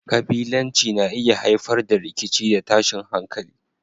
Kabilanci na iya haifar da rikici da tashin hankali.